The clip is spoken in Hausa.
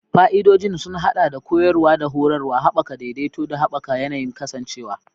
Fa'idodin sun haɗa da koyarwa da horarwa, haɓaka daidaito, da haɓaka yanayin kasancewa.